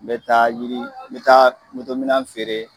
N bɛ taa yiri n bɛ taa minan feere